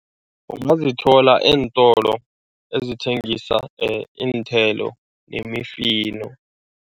Ungazithola eentolo ezithengisa iinthelo nemifino.